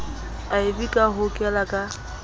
iv ka ho hokela ka